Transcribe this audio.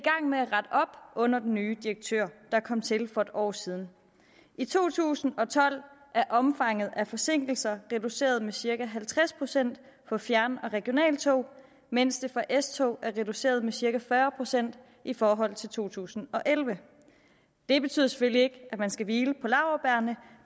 under den nye direktør der kom til for et år siden i to tusind og tolv er omfanget af forsinkelser reduceret med cirka halvtreds procent for fjern og regionaltog mens det for s tog er reduceret med cirka fyrre procent i forhold til to tusind og elleve det betyder selvfølgelig ikke at man skal hvile på laurbærrene